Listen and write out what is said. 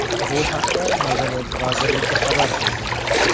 Bu haqda Madaniyat vazirligi xabar qildi.